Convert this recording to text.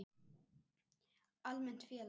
Almennt félag